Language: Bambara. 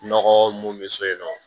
Nɔgɔ mun bɛ so yen nɔ